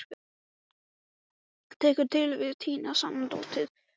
Tekur til við að tína saman dót.